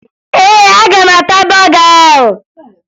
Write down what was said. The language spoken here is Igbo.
Ee, aga m ata bọga ahụ